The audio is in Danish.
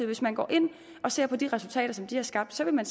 hvis man går ind og ser på de resultater som de har skabt vil man